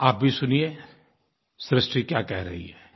आप भी सुनिए सृष्टि क्या कह रही है